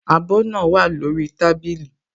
Abọ́ náà wà lórí tábìlì